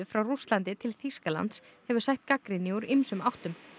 frá Rússlandi til Þýskalands hefur sætt gagnrýni úr ýmsum áttum